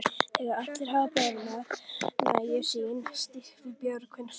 Þegar allir hafa borðað nægju sína stígur Björgvin fram.